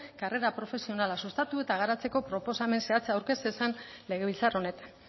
karrera profesionala sustatu eta garatzeko proposamen zehatza aurkez zezan legebiltzar honetan